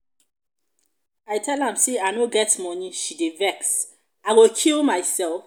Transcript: i tell am say i no get money she dey vex.i go kill myself?